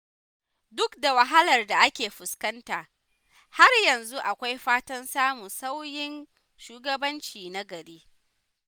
Duk da wahalar da ake fuskanta, har yanzu akwai fatan samun sauyin shugabanci na gari.